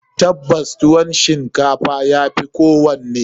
Tabbas, tuwon shinkafa ya fi kowanne.